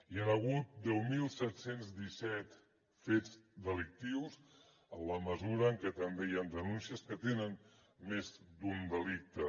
hi han hagut deu mil set cents i disset fets delictius en la mesura en què també hi han denúncies que tenen més d’un delicte